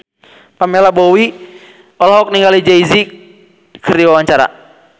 Pamela Bowie olohok ningali Jay Z keur diwawancara